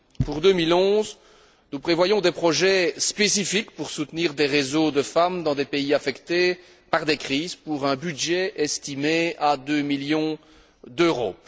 Pour 2011, nous prévoyons des projets spécifiques pour soutenir des réseaux de femmes dans des pays affectés par des crises, pour un budget estimé à 2 millions d'euros.